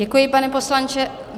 Děkuji, pane poslanče.